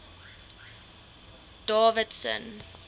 davidson